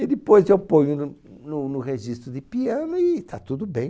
Aí depois eu ponho no no no registro de piano e está tudo bem.